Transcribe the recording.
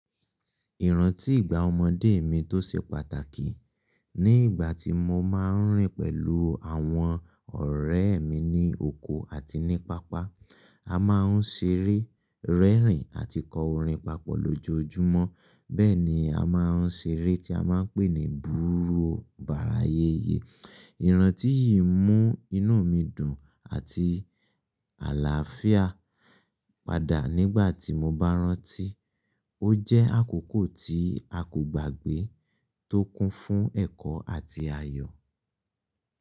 Ìrántí ìgbà ọmọdé mi tó ṣe pàtàkì ní ìgbà tí mo máa ń rìn pẹ̀lú àwọn ọ̀rẹ́ mi ní oko àti ní pápá. A máa ń ṣeré, rẹ́rìn-ín àti kọ orin papọ̀ lójoojúmọ́. Bẹ́ẹ̀ ni a máa ń ṣeré tí a máa ń pè ní búburú ọbarà ayẹyẹ. Ìrántí yìí mú inú mi dùn àti àlàáfíà padà nígbà tí mo bá rántí. Ó jẹ́ àkókò tí a kò gbàgbé tó kún fún ẹ̀kọ́ àti ayọ̀.